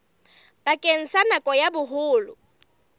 bakeng sa nako ya boholo